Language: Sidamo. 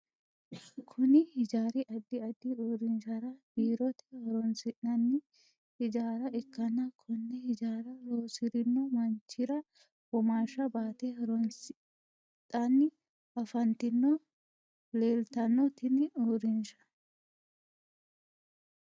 Kunni hijaari addi addi uurinshara biirote horoonsi'nanni hijaara ikanna konne hijaara loosirino manchira womaasha baate horoosidhanni afantino leeltano tinni uurinsha.